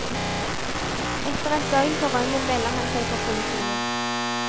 Etter et døgn på rømmen melder han seg for politiet.